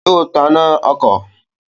Yóò taná ọkọ̀